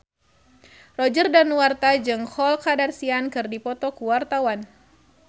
Roger Danuarta jeung Khloe Kardashian keur dipoto ku wartawan